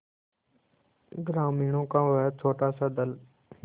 ग्रामीणों का वह छोटासा दल